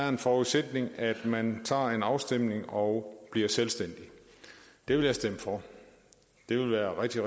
en forudsætning at man tager en afstemning og bliver selvstændig det vil jeg stemme for det vil være rigtig